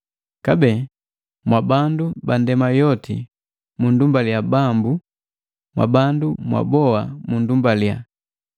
Kabee, “Mwabandu ba ndema yoti munndumbalia Bambu, mwabandu mwaboa munndumbalia.”